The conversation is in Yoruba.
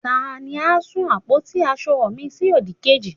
tani a sun àpótí asọ mi sí odikeji